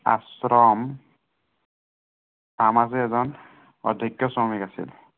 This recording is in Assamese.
আশ্ৰম তাৰ মাজৰে এজন অভিজ্ঞ শ্ৰমিক আছিল।